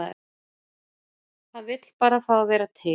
Hann vill bara fá að vera til.